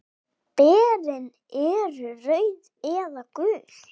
Berin eru rauð eða gul.